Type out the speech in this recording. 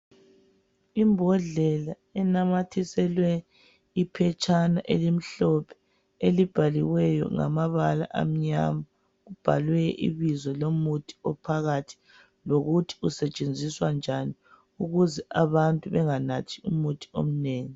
Imbodlela enamathiselwe iphetshana elimhlophe elibhaliweyo ngamabala amnyama libhalwe ibizo lomuthi ophakathi lokuthi usetshenziswa njani ukuze abantu benganathi umuthi omnengi.